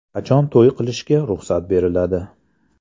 Qachon to‘y qilishga ruxsat beriladi?